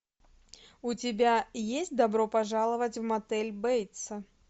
у тебя есть добро пожаловать в мотель бейтса